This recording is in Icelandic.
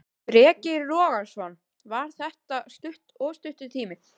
Breki Logason: Var þetta of stuttur tími?